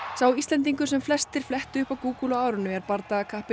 sá Íslendingur sem flestir flettu upp á Google á árinu er